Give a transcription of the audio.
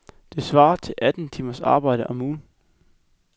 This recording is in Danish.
Det svarer til atten timers arbejde om ugen.